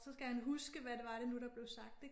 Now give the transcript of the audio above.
Så skal han huske hvad det var det nu der blev sagt ik